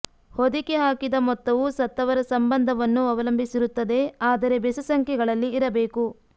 ಹೊದಿಕೆ ಹಾಕಿದ ಮೊತ್ತವು ಸತ್ತವರ ಸಂಬಂಧವನ್ನು ಅವಲಂಬಿಸಿರುತ್ತದೆ ಆದರೆ ಬೆಸ ಸಂಖ್ಯೆಗಳಲ್ಲಿ ಇರಬೇಕು